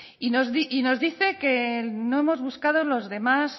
y nos dice que no hemos buscado los demás